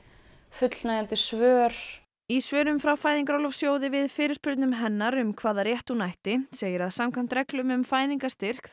fullnægjandi svör í svörum frá Fæðingarorlofssjóði við fyrirspurnum hennar um hvaða rétt hún ætti segir að samkvæmt reglum um fæðingarstyrk